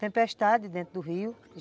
Tempestade dentro do rio.